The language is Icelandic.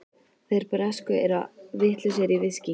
Þeir bresku eru vitlausir í viskí.